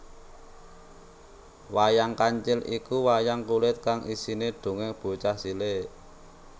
Wayang Kancil iku wayang kulit kang isine dongeng bocah cilik